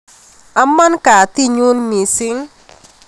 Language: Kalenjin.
Amaa katit nyun mising